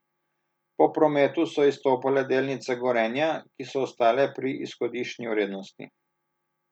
Po prometu so izstopale delnice Gorenja, ki so ostale pri izhodiščni vrednosti.